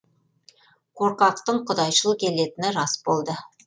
қорқақтың құдайшыл келетіні рас болды